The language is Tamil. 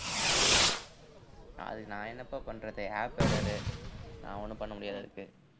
அதுக்கு நான் என்னப்பா பண்றது app error உ நான் ஒண்ணும் பண்ண முடியாது அதுக்கு